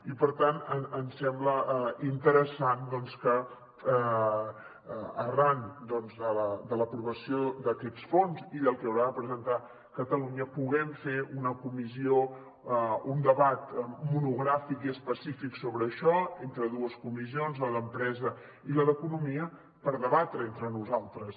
i per tant ens sembla interessant doncs que arran de l’aprovació d’aquests fons i del que haurà de presentar catalunya puguem fer una comissió un debat monogràfic i específic sobre això entre dues comissions la d’empresa i la d’economia per debatre entre nosaltres